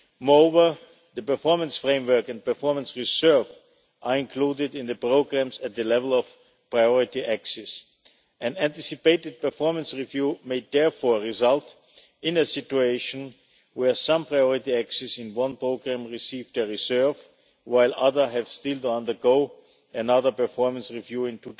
Moreover, the performance framework and performance reserve are included in the programmes at the level of priority axes, and anticipated performance reviews may therefore result in a situation where some priority axes in one programme receive their reserve while others have still to undergo another performance review in